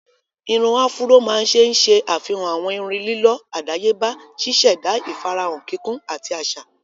Irun áfúró máa ń ṣe ṣe àfihàn àwọn irun lílọ́ àdáyébá, ṣíṣẹ̀da ìfarahàn kíkún ati aṣa.